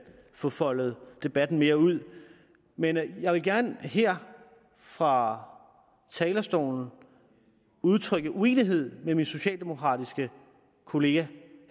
få foldet debatten mere ud men jeg vil gerne her fra talerstolen udtrykke uenighed med min socialdemokratiske kollega